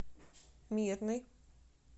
мирный